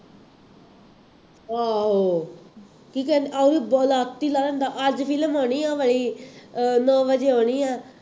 ਆਹੋ, ਕੀ ਕਹਿੰਦੇ, ਲੱਤ ਹੀ ਲਾਹ ਦਿੰਦਾ, ਅੱਜ ਫਿਲਮ ਆਉਣੀ ਹੈ ਭਾਈ ਅਹ ਨੌ ਵਜੇ ਆਉਣੀ ਹੈ